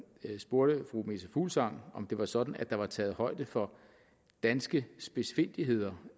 spurgte fru meta fuglsang om det var sådan at der var taget højde for danske spidsfindigheder